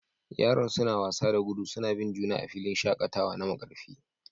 Yaran suna wasa da gudu suna bin juna a filin shakatawa na Markarfi